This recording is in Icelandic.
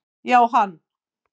Já, hann